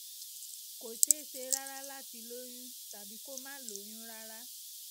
kò ṣeé ṣe rárá láti lóyún tàbí kó má lóyún rárá